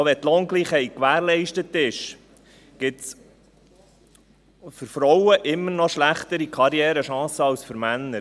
Auch wenn die Lohngleichheit gewährleistet ist, gibt es für Frauen immer noch schlechtere Karrierechancen als für Männer.